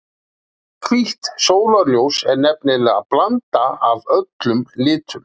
Hvítt sólarljós er nefnilega blanda af öllum litum.